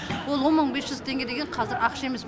ол он мың бес жүз теңге деген қазір ақша емес